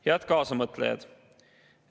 Head kaasamõtlejad!